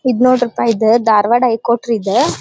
ಇದು ನೋಡ್ರಪ್ಪಾ ಇದು ಧಾರ್ವಾಡ್ ಹೈ ಕೋರ್ಟ್ ರೀ ಇದು.